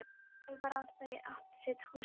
Undarlegt var að þau áttu sitt húsið hvort.